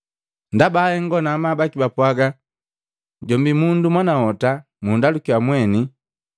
Ndaba ahengo na amabu baki bapwaga, “Jombi mundu mwanahota mundalukiya mwene!”